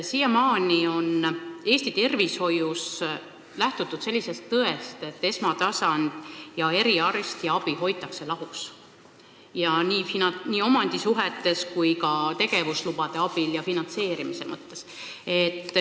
Siiamaani on Eesti tervishoius lähtutud põhimõttest, et esmatasandi ja eriarstiabi hoitakse lahus, seda nii omandisuhete kui ka tegevuslubade andmise ja finantseerimise mõttes.